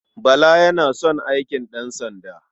Bala yana son aikin ɗansanda.